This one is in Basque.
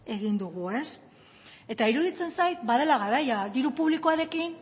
egin dugu eta iruditzen zait badela garaia diru publikoarekin